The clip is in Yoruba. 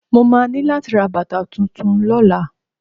Mo máa ní láti ra bàtà tuntun lọ́la.